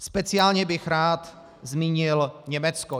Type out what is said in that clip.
Speciálně bych rád zmínil Německo.